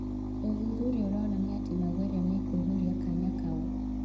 ũthuthuria ũronania atĩ Maguere nĩ ekũihũria kanya kau.